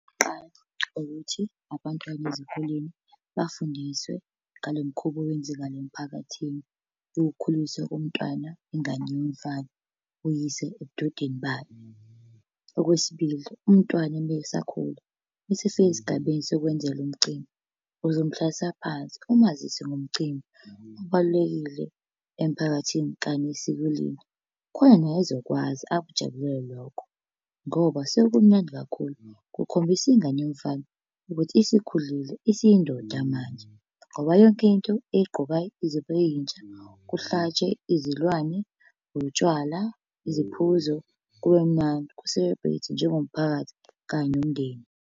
Qha ukuthi abantwana ezikoleni bafundiswe ngalo mkhuba owenzakala emphakathini. Nangokukhulunyiswa komntwana ingane yomfana, uyise ebudodeni bayo. Okwesibili, umntwana uma esakhula, meese efika esigabeni sokwenzelwa umcimbi, uzomhlalisa phansi, umazise ngomcimbi obalulekile emphakathini kanye nesiko lethu. Khona naye ezokwazi akujabulele lokho, ngoba kusuke kumnandi kakhulu kukhombisa ingane yomfana ukuthi isikhulile isiyindoda manje. Ngoba yonke into eyigqokayo izobe iyintsha, kuhlatshwe izilwane, utshwala, iziphuzo, kube mnandi. Ku-celebrate-we njengomphakathi kanye nomndeni.